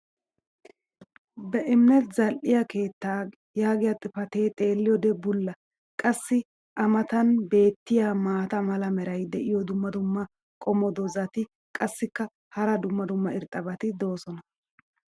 Be'imminet zal'iya keettaa yaagiya xifatee xeeliyoode bulla. qassi a matan beetiya maata mala meray diyo dumma dumma qommo dozzati qassikka hara dumma dumma irxxabati doosona.